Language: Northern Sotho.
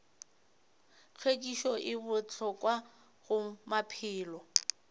hlwekišo e bohlokwa go maphelo